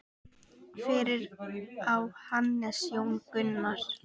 Fyrir á Hannes Jón Gunnar.